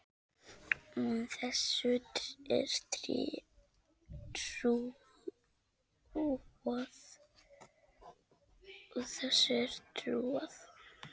Og þessu er trúað.